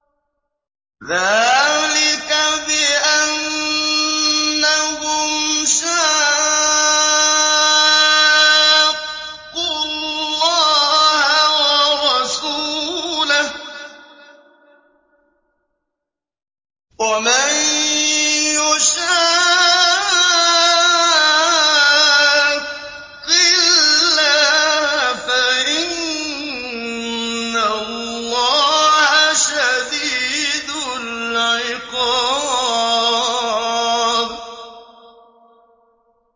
ذَٰلِكَ بِأَنَّهُمْ شَاقُّوا اللَّهَ وَرَسُولَهُ ۖ وَمَن يُشَاقِّ اللَّهَ فَإِنَّ اللَّهَ شَدِيدُ الْعِقَابِ